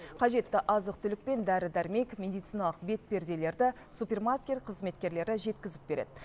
қажетті азық түлік пен дәрі дәрмек медициналық бетперделерді супермаркет қызметкерлері жеткізіп береді